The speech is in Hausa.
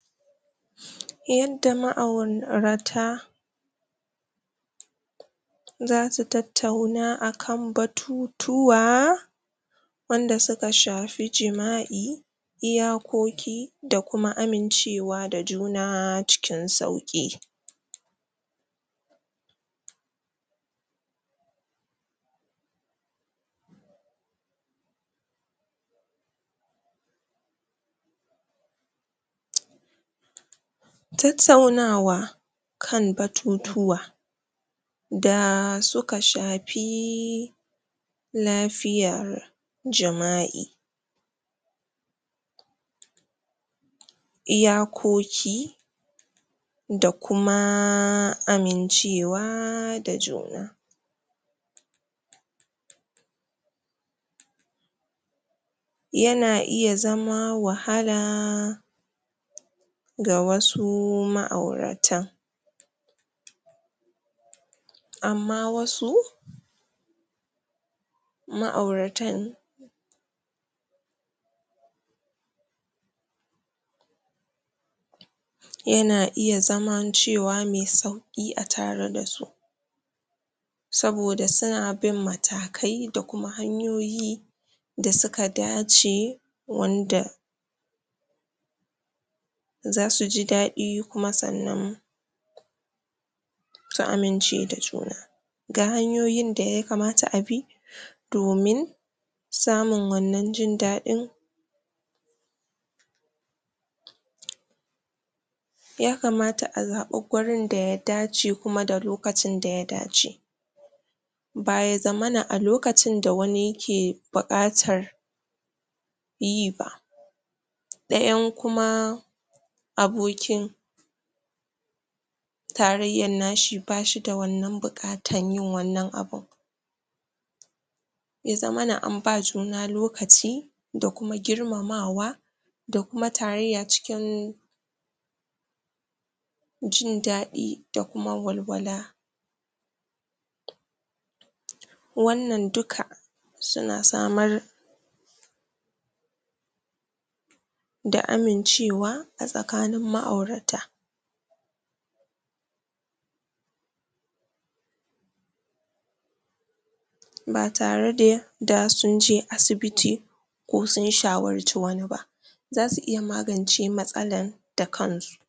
yadda ma'aurata zasu tattauna akan batu tuwa wanda suka shafi jima'i iyakoki da kuma amince wa da juna cikin sauki??? tattaunawa kan batu tuwa daa suka shaafiii lafiyar jima'i iyakoki da kumaaa amincewaa da juna yana iya zama wahalaa? ga wasu ma'aurata amma wasu ma'auratan yana iya zaman cewa me sauki atare dasu saboda suna bin matakai da kuma hanyoyi da suka dace wanda zasu ji dadi kuma sannan su amince da juna ga hanyoyin da ya kamata a bi domin samun wannan jin dadin?? ya kamata a zabi wurin da ya dace kuma da lokacin da ya dace ba ya zamana a lokacin da wani yake bukatar yi ba da yan kuma abokin tarayyan nashi bashi da wannan bukatan yin wannan abun ya zamana an ba juna lokaci da kuma girmama wa da kuma tarayya cikin jin dadi da walwala?? wannan duka suna samar da amincewa a tsakanin ma'aurata ba tare da da sunje asibiti ko sun shawarci wani ba wasu iya magance matsalan da kansu